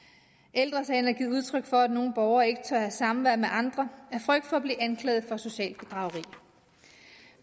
ældre sagen har givet udtryk for at nogle borgere ikke tør have samvær med andre af frygt for at blive anklaget for socialt bedrageri